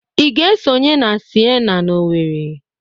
Ị ga-esonye na Sienna na Owerri?